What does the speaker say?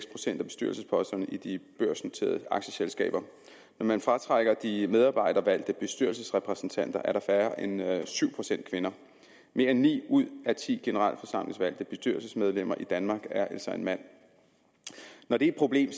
procent af bestyrelsesposterne i de børsnoterede aktieselskaber når man fratrækker de medarbejdervalgte bestyrelsesrepræsentanter er der færre end syv procent kvinder mere end ni ud af ti generalforsamlingsvalgte bestyrelsesmedlemmer i danmark er altså mænd når det er et problem